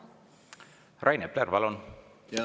Rain Epler, palun!